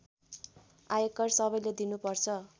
आयकर सबैले तिर्नुपर्छ